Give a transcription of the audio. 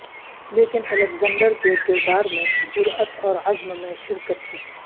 لیکن الیگزینڈر کے کردار میں جرات اور عزم میں شرکت کی